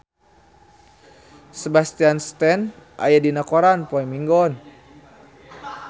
Sebastian Stan aya dina koran poe Minggon